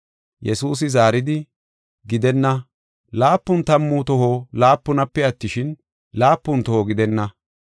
Yesuusi zaaridi, “Gidenna, laapun tammu toho laapunape attishin, laapun toho gidenna.